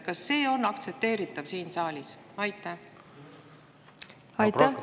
Kas see on aktsepteeritav siin saalis?